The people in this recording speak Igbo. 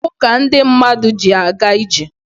Ụkwụ ka ndị mmadụ ji aga ije.